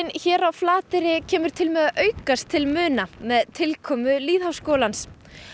hér á Flateyri kemur til með að aukast til muna með tilkomu lýðháskólans